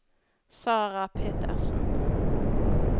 Sarah Petersen